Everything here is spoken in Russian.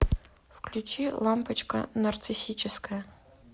включи лампочка нарциссическая